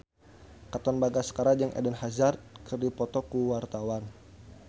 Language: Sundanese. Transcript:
Katon Bagaskara jeung Eden Hazard keur dipoto ku wartawan